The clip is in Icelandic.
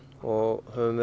og höfum